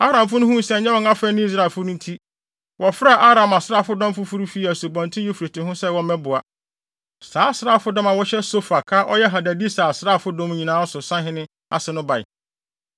Aramfo no huu sɛ ɛnyɛ wɔn afɛ ne Israelfo no nti, wɔfrɛɛ Aram asraafodɔm foforo fii Asubɔnten Eufrate ho sɛ wɔmmɛboa. Saa asraafodɔm a wɔhyɛ Sofak a ɔyɛ Hadadeser asraafodɔm nyinaa so sahene ase no bae.